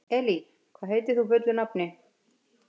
Elí, hvað heitir þú fullu nafni?